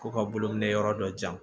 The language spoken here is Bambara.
Ko ka bolo minɛ yɔrɔ dɔ jan